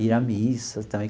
Ir à missa também.